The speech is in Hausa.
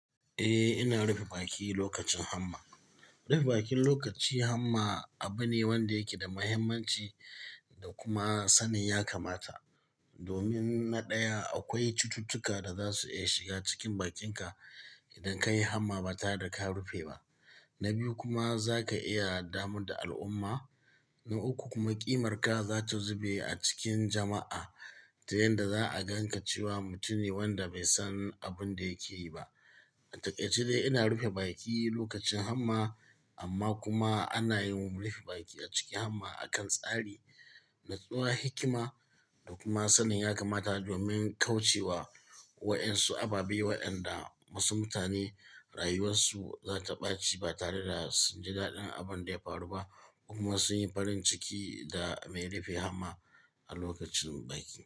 Eh, ina rufe baki lokacin hamma. Rufe bakin lokaci hamma abune wanda yake da mahimmanci da kuma sanin ya kamata. Domin na ɗaya akwai cututtuka da zasu iya shiga cikin bakinka idan kayi hamma ba tare daka rufe ba. Na biyu kuma za ka iya damu da al'umma. Na uku kuma ƙimarka zata zube acikin jama'a ta yadda za'a ganka cewa mutumne wanda baisan abinda yake yiba. A takaice dai ina rufe baki lokacin hamma amma kuma anayi mun rufe baki acikin hamma akan tsari, natsuwa, hikima da kuma sanin yakamata domin kaucewa waɗansu ababe waɗanda wasu mutane rayuwarsu zata ɓaci ba tare da sunji daɗin abinda yafaru ba kuma sun yi farinciki da mai rufe hamma a lokacin baki.